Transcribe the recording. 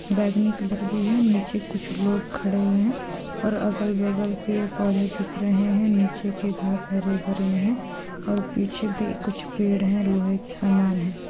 बैगनी कलर भी हैनीचे कुछ लोग खड़े हुए है और अगल-बगल पेड़-पौधे दिख रहे है नीचे के घास हरे-भरे है और पीछे भी कुछ पेड़ है लोहे के समान है।